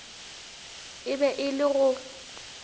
e be e le go